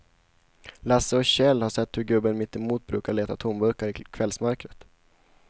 Lasse och Kjell har sett hur gubben mittemot brukar leta tomburkar i kvällsmörkret.